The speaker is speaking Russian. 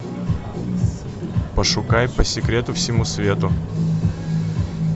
пошукай по секрету всему свету